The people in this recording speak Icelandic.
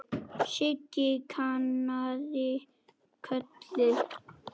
Siggi kinkaði kolli.